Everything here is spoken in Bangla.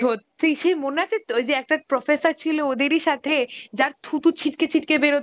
সত্যি, সেই মনে আছে, তো ঐযে একটা professor ছিলো ওদেরই সাথে, যার থুতু ছিটকে ছিটকে বেরোত